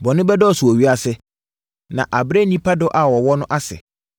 Bɔne bɛdɔɔso wɔ ewiase, na abrɛ nnipa dɔ a wɔwɔ no ase.